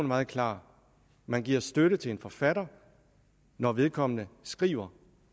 meget klar man giver støtte til en forfatter når vedkommende skriver